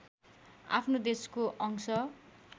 आफ्नो देशको अंश